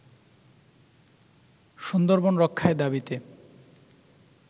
সুন্দরবন রক্ষায় দাবিতে